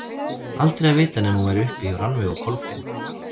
Aldrei að vita nema hún væri uppi hjá Rannveigu og Kolbeini.